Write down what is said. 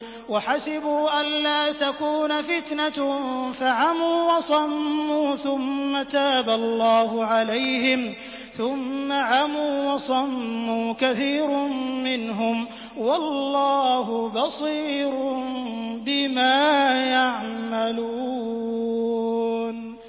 وَحَسِبُوا أَلَّا تَكُونَ فِتْنَةٌ فَعَمُوا وَصَمُّوا ثُمَّ تَابَ اللَّهُ عَلَيْهِمْ ثُمَّ عَمُوا وَصَمُّوا كَثِيرٌ مِّنْهُمْ ۚ وَاللَّهُ بَصِيرٌ بِمَا يَعْمَلُونَ